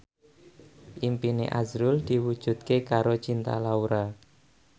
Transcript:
impine azrul diwujudke karo Cinta Laura